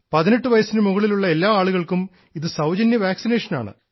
18 വയസ്സിന് മുകളിലുള്ള എല്ലാ ആളുകൾക്കും ഇത് സൌജന്യ വാക്സിനേഷനാണ്